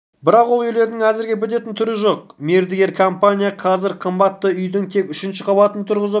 бірақ ол үйлердің әзірге бітетін түрі жоқ мердігер компания қазір қабатты үйдің тек үшінші қабатын тұрғызып